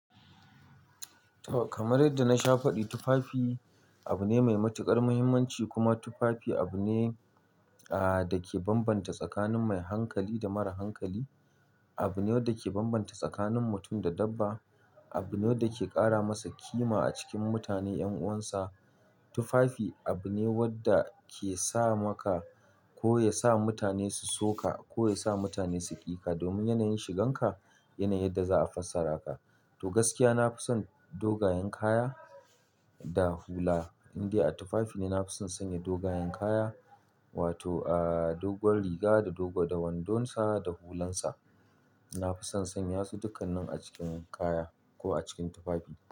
Kamar yadda na shafi, tufafi abu ne mai matuƙar muhimmanci. Kuma tufafi abu ne ah da ke bambanta tsakanin mai hankali da mara hankali. Abu ne wanda ke bambanta tsakanin mutum da dabba. Abu ne wanda ke ƙara masa kima a cikin mutanen 'yan uwansa. Tufafi abu ne wanda ke sa maka ko ya sa mutane su so ka ko ya sa mutane su ƙi ka domin yanayin shigan ka, yanayin da za a fassara ka. To gaskiya, na fi son dogayen kaya da hula. Indiya a tufafi ne. Na fi son sanya dogayen kaya, wato ah dogon riga da wandon sa da hulan sa. Na fi son sanya su dukkanin a cikin kaya ko a cikin tufafi.